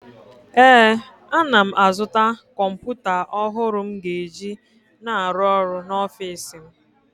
ee, ana m azụta kọmpụta ọhụrụ m ga-eji na-arụ ọrụ n’ọfịs m